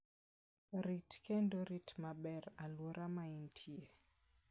Rit kendo rit maber alwora ma intie.